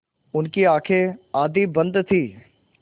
उनकी आँखें आधी बंद थीं